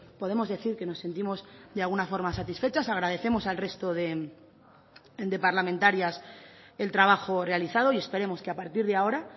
podemos decir que nos sentimos de alguna forma satisfechas agradecemos al resto de parlamentarias el trabajo realizado y esperemos que a partir de ahora